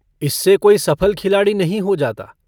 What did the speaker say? इससे कोई सफल खिलाड़ी नहीं हो जाता।